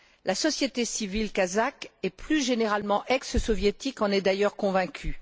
La société civile kazakhe, et plus généralement ex soviétique, en est d'ailleurs convaincue.